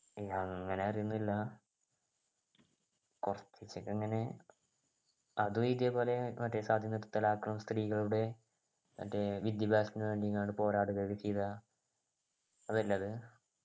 അങ്ങനെ അറിയുന്നില്ല കുറച്ചൊക്കെ അങ്ങനെ അതും ഇതേപോലെ മറ്റേ സതി നിർത്തലാക്കും സ്ത്രീകളുടെ മറ്റേ വിദ്യാഭ്യാസത്തിന് വേണ്ടി എങ്ങാണ്ട് പോരാടുകയൊക്കെ ചെയ്ത അതല്ലേ അത്